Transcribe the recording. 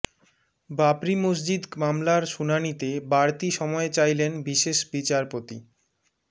বাবরি মসজিদ মামলার শুনানিতে বাড়তি সময় চাইলেন বিশেষ বিচারপতি